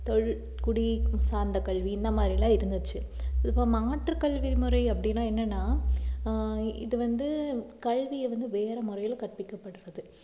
சார்ந்த கல்வி இந்த மாதிரி எல்லாம் இருந்துச்சு இப்போ மாற்றுக் கல்வி முறை அப்படின்னா என்னன்னா ஆஹ் இது வந்து கல்வியை வந்து வேற முறையிலே கற்பிக்கப்படறது